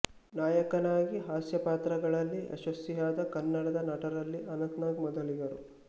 ನಾಯಕನಾಗಿ ಹಾಸ್ಯಪಾತ್ರಗಳಲ್ಲಿ ಯಶಸ್ವಿಯಾದ ಕನ್ನಡದ ನಟರಲ್ಲಿ ಅನಂತ್ ನಾಗ್ ಮೊದಲಿಗರು